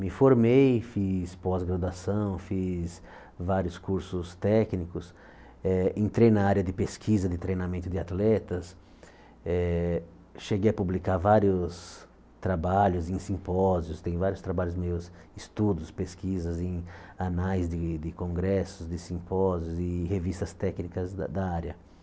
Me formei, fiz pós-graduação, fiz vários cursos técnicos, eh entrei na área de pesquisa de treinamento de atletas, eh cheguei a publicar vários trabalhos em simpósios, tenho vários trabalhos meus, estudos, pesquisas em anais de de congressos, de simpósios e revistas técnicas da da área.